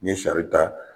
N ye sari ta